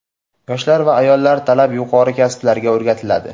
yoshlar va ayollar talab yuqori kasblarga o‘rgatiladi.